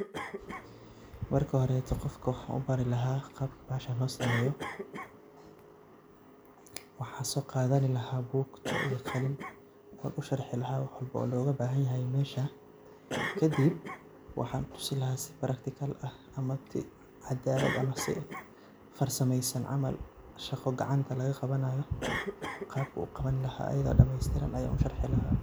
Marka horeeto qofka waxan ubari lahaa qabta bahashan loo sameeyo, waxan soo qadani lahaa bugto iyo qalin, wan usharixi lahaa wax walbo oo loga bahan yahay mesha, kadib waxan tusi laha si praktikal ah ama si cadaalad ah ama si farsameysan camal, shaqo gacanta laga qabanayo qabku uqabani laha, ayado dhameestiran ayan usharixi laha